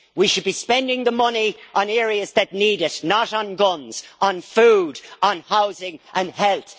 We should be spending the money on areas that need it, not on guns on food, on housing and health.